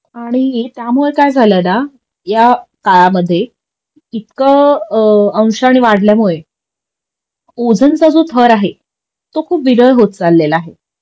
आणि त्यामुळं काय झाल ना या काळामध्ये इतकं अंशाने वाढल्यामुळे ओझोन चा जो थर आहे तो खूप विरळ होत चालेला आहे